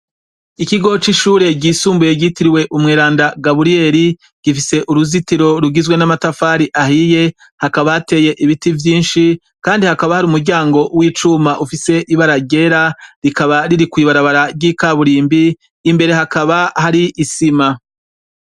Ikigo c'ishure ryisumbuye ryitiriwe umweranda Gaburiyeri, gifise uruzitiro rugizwe n'amatafari ahiye, hakaba hateye ibiti vyinshi, kandi hakaba hari umuryango w'icuma ufise ibara ryera rikaba riri kw'ibarabara ry'ikaburimbi, imbere hakaba hari isima.